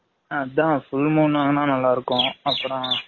அதான் full moon வாங்குனா நல்லா இருக்கும்